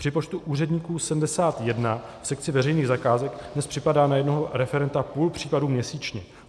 Při počtu úředníků 71 v sekci veřejných zakázek dnes připadá na jednoho referenta půl případu měsíčně.